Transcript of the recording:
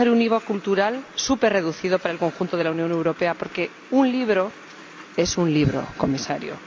Es necesario un IVA cultural superreducido para el conjunto de la Unión Europea porque un libro es un libro, Comisario.